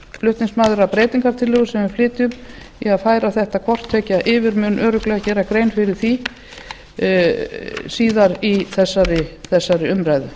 flutningsmaður að breytingartillögu sem við flytjum í að færa þetta hvort tveggja yfir mun örugglega gera grein fyrir því síðar í þessari umræðu